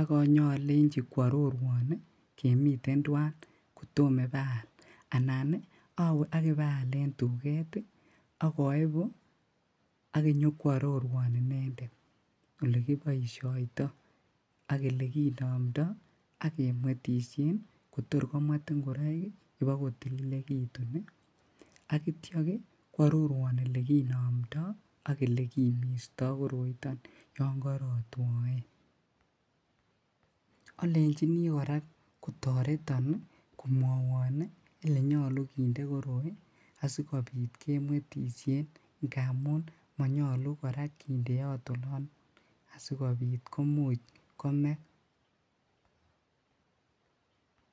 ak nyalechi koarorwaan ii kemiten tuan kotamah ibaak yaal anan ii aweeh akibayal en tuget ii, ak aibuu ak inyokoarorwaan inendet ole kibaishaitoi ak ole kinamndai akemwetisheen kotoor komwet ngoraik ii ibaak kotililegituun ak yeityaa koarorwaan ele kinamndai ak ole kimistaa yaan karaa twaen, alechini kora kotaretan komwaan ii ele nyaluu kindee koroi asikobiit akemwetisheen ngamuun manyaluu kora kindeat olaan asikobiit komuuch komee.